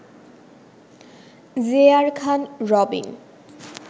J R Khan Robin